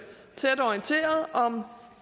tæt orienteret om